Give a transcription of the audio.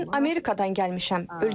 Mən Amerikadan gəlmişəm.